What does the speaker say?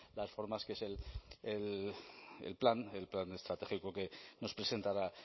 las formas que es el plan el plan estratégico que nos presentará